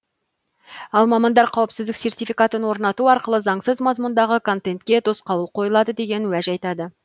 ал мамандар қауіпсіздік сертификатын орнату арқылы заңсыз мазмұндағы контентке тосқауыл қойылады деген уәж айтады